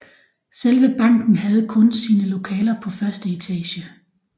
Selve banken havde kun sine lokaler på første etage